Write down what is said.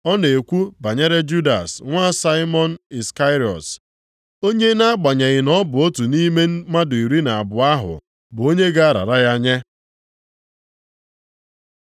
Ọ na-ekwu banyere Judas nwa Saimọn Iskarịọt, onye nʼagbanyeghị na ọ bụ otu nʼime mmadụ iri na abụọ ahụ, bụ onye ga-arara ya nye.